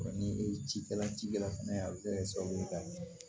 ni cikɛla cikɛla fɛnɛ a be se ka kɛ sababu ye ka min